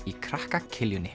í krakka